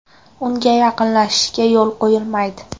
Unga yaqinlashishga yo‘l qo‘yilmaydi.